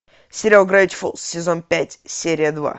сериал гравити фолз сезон пять серия два